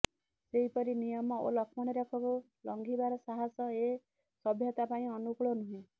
ସେହିପରି ନିୟମ ଓ ଲକ୍ଷ୍ମଣରେଖାକୁ ଲଙ୍ଘିବାର ସାହସ ଏ ସଭ୍ୟତାପାଇଁ ଅନୁକୂଳ ନୁହେଁ